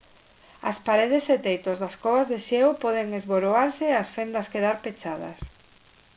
as paredes e teitos das covas de xeo poden esboroarse e as fendas quedar pechadas